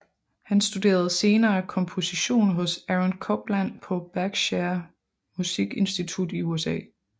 Han studerede senere komposition hos Aaron Copland på Berkshire Musik Institut i USA